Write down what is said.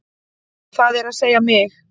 Það er að segja mig.